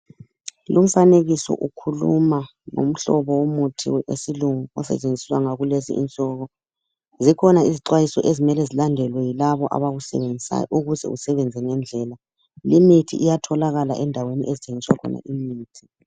Lumfanekiso ukhuluma ngomhlobo womuthi wesilungu osetshenziswa ngakulezinsuku zikhona izixwayiso ezimele zilandelwe yilabo abawusebenzisayo ukuze usebenze ngendlela limithi iyatholakala endaweni okuthengiswa khona imithi.